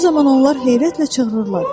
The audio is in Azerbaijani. Bu zaman onlar heyrətlə çığırırlar.